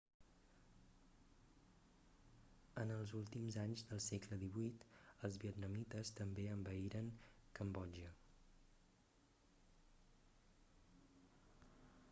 en els últims anys del segle xviii els vietnamites també envaïren cambodja